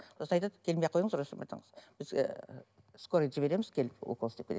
сосын айтады келмей ақ қойыңыз сізге скорыйды жібереміз келіп укол істеп береді